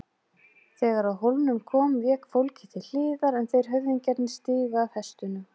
Þegar að hólnum kom vék fólkið til hliðar en þeir höfðingjarnir stigu af hestunum.